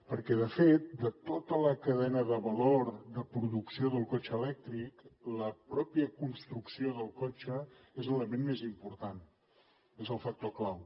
perquè de fet de tota la cadena de valor de producció del cotxe elèctric la pròpia construcció del cotxe n’és l’element més important n’és el factor clau